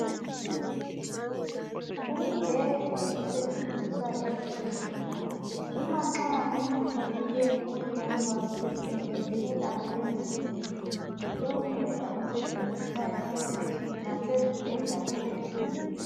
Umbheda osetshenziswa ezibhedlela uma nxa umuntu ethe ukuhlolwa ephatheke kubi emzimbeni, yiwo umbheda osetshenziswayo lowu ngasezibhedleleni.